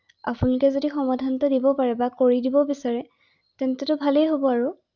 আপোনালোকে সমাধানটো দিব পাৰে বা কৰি দিব বিছাৰে তেন্তটো ভালেই হ’ব আৰু ৷